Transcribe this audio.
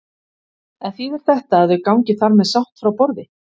En þýðir þetta að þau gangi þar með sátt frá borði?